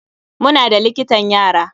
Muna da likitan yara.